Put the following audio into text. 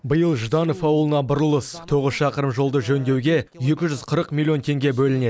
биыл жданов ауылына бұрылыс тоғыз шақырым жолды жөндеуге екі жүз қырық миллион теңге бөлінеді